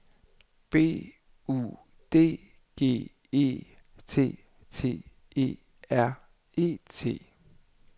B U D G E T T E R E T